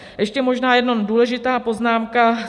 Ještě možná jenom důležitá poznámka.